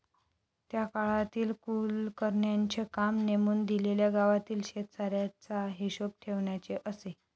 त्या काळातील कुलकर्ण्यांचे काम नेमून दिलेल्या गावातील शेतसाऱ्याचा हिशोब ठेवण्याचे असे.